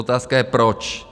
Otázka je proč?